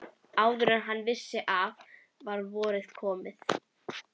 Áður en hann vissi af var komið vor.